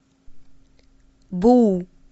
бу